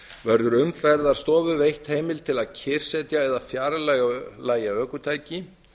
verður umferðarstofu veitt heimild til að kyrrsetja eða fjarlægja ökutæki